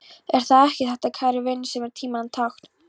Er það ekki þetta, kæru vinir, sem er tímanna tákn.